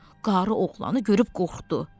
Qarı oğlanı görüb qorxdu.